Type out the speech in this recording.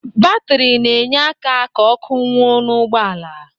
Batri na-enye aka ka ọ́kụ́ nwuo n'ụgbọala.